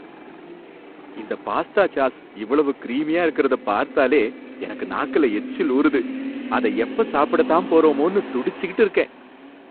இந்த pasta sauce இவ்வளவு கிரீமியா இருக்கிறத பார்த்தாலே என் நாக்குல எச்சில் ஊறுது. அத எப்ப சாப்பிட தான் போறோமோனு துடிச்சுக்கிட்டு இருக்கேன்.